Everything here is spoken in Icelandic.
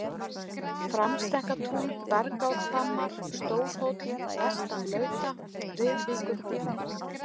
Framstekkatún, Bergárhvammar, Stórhóll-vestan-Lauta, Riðvíkurhólmi